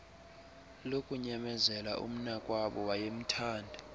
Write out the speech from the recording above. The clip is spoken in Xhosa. lokunyamezela umnakwabo wayemthanda